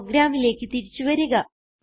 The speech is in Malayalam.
പ്രോഗ്രാമിലേക്ക് തിരിച്ചു വരിക